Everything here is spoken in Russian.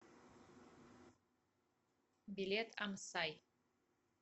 билет амсай